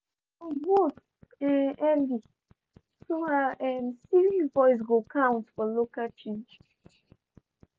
she go vote early so her um civic voice go count for local change.